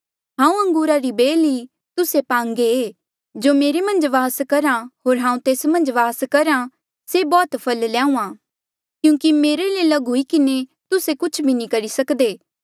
हांऊँ अंगूरा री बेल ई तुस्से पांगे जो मेरे मन्झ वास करहा होर हांऊँ तेस मन्झ वास करहा से बौह्त फल ल्याहूँआं क्यूंकि मेरे ले लग हुई किन्हें तुस्से कुछ भी नी करी सक्दे